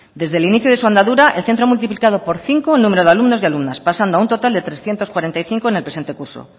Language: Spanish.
desde el inicio de su andadura el centro ha multiplicado por cinco el número de alumnos y alumnas pasando a un total de trescientos cuarenta y cinco en el presente curso